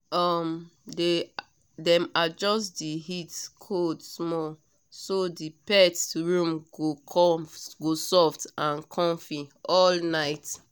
um dem adjust the heat/cold small so the pet room go soft and comfy all night